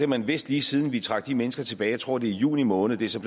man vidst lige siden vi trak de mennesker tilbage jeg tror det var i juni måned det er så